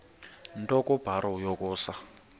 nto kubarrow yokusa